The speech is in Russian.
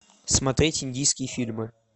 смотреть индийские фильмы